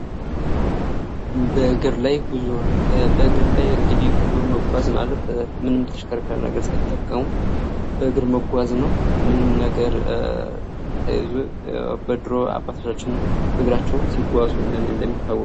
በእግር ላይ ጉዞ፤ በእግር ላይ እንግዲህ ጉዞ መጎ ማለት ምንም ተሽከርካሪ ነገር ሳይጠቀሙ በእግር መጓዝ ነው። ምንም ነገር ሳይዙ በድሩ አባቶቻችን በግራቸው ሲጓዙ እንደሚታወቀው።